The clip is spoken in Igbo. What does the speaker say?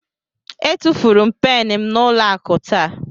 Etufuru m pen m n'ụlọ akụ taa.